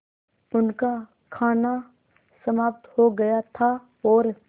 उनका खाना समाप्त हो गया था और